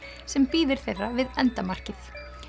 sem bíður þeirra við endamarkið